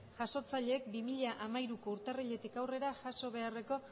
jasotzaileek bi mila hamairuko urtarriletik aurrera jaso beharreko